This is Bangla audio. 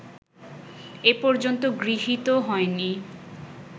এ পর্যন্ত গৃহীত হয়নি